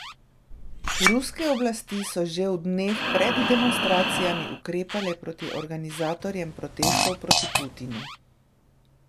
Ruske oblasti so že v dneh pred demonstracijami ukrepale proti organizatorjem protestov proti Putinu.